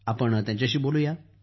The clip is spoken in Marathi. या त्यांच्याशी चर्चा करू या